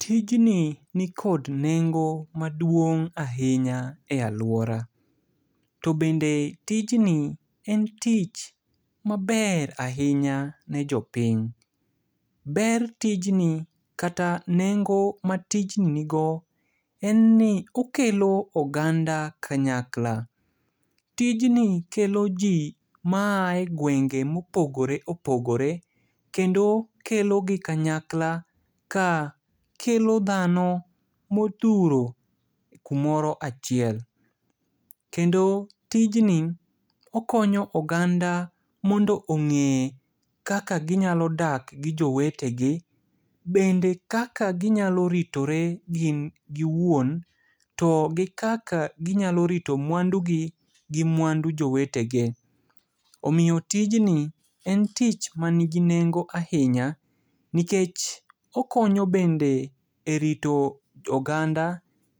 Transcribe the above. Tijni nikod nengo maduong' ahinya e aluora. To bende tijni en tich maber ahinya ne jopiny. Ber tijni kata nengo matijni nigo, en ni okelo oganda kanyakla. Tijni kelo ji ma ae gwenge mopogore opogore, kendo kelo gi kanyakla ka kelo dhano modhuro kumoro achiel. Kendo tijni, okonyo oganda mondo ong'e kaka ginyalo dak gi jowetegi. Bende kaka ginyalo ritore gin giwuon. To gi kaka ginyalo rito mwandugi gi mwandu jowetege. Omiyo tijni, en tich manigi nengo ahinya, nikech okonyo bende e rito oganda.